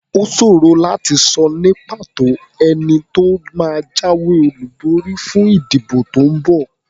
Ó ṣòro láti sọ ní pàtó ẹni tó máa jáwé olúborí fún ìdìbò tó ń bọ̀.